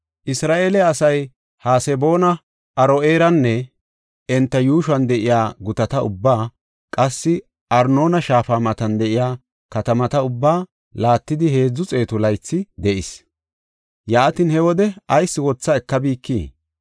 Isra7eele asay Haseboona, Aro7eeranne enta yuushuwan de7iya gutata ubbaa, qassi Arnoona shaafa matan de7iya katamata ubbaa laattidi heedzu xeetu laythi de7is. Yaatin, he wode ayis wotha ekabikii?